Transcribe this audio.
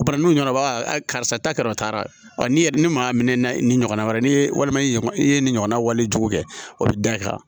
Bana nu ɲanabɔ barisa ta kɛra o taara ni maa minɛ ni ɲɔgɔnna wɛrɛ ye ni walima i ye i ye nin ɲɔgɔnna wali jugu kɛ o bi da i kan